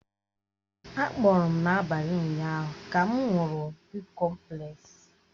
Á gboọ́rọ́ m n'abalị ụnyaahụ ka m ṅụrụ bịkọmplesi